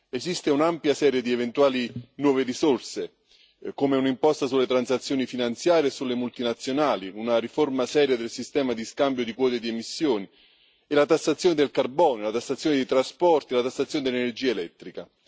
Esiste un'ampia serie di eventuali nuove risorse, come un'imposta sulle transazioni finanziarie e sulle multinazionali, una riforma seria del sistema di scambio di quote di emissioni e la tassazione del carbone, la tassazione dei trasporti, la tassazione dell'energia elettrica.